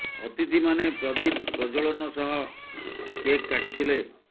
ଅତିଥି ମାନେ ପ୍ରଦୀପ ପ୍ରଜ୍ୱଳନ ସହ କେକ୍ କାଟି ଥିଲେ